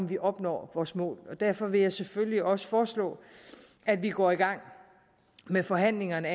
vi opnår vores mål og derfor vil jeg selvfølgelig også foreslå at vi går i gang med forhandlingerne